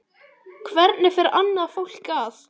Hvernig fer annað fólk að?